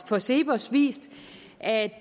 for cepos vist at